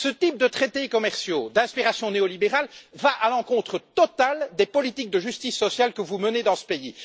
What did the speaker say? Ce type de traités commerciaux d'inspiration néolibérale va à l'encontre totale des politiques de justice sociale que vous menez dans ce pays.